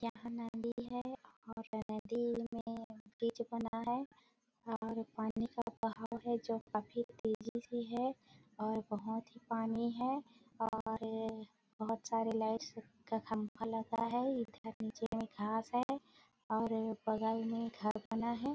यह नदी है और नदी में ब्रिज बना है और पानी का बहाव है जो काफी तेजी से है और बहोत ही पानी है और बहुत सारे लाइट्स का खम्बा लगा है इधर नीचे में घास है और बगल में घर बना है।